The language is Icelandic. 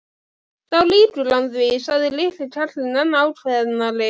Þá lýgur hann því sagði litli karlinn enn ákveðnari.